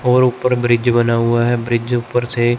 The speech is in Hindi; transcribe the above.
और ऊपर ब्रिज बना हुआ है ब्रिज ऊपर से--